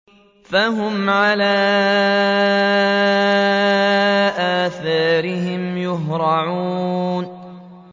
فَهُمْ عَلَىٰ آثَارِهِمْ يُهْرَعُونَ